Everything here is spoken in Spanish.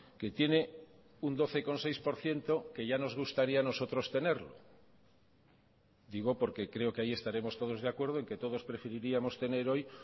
que tiene un doce coma seis por ciento que ya nos gustaría a nosotros tenerlo digo porque creo que ahí estaremos todos de acuerdo en que todos preferiríamos tener hoy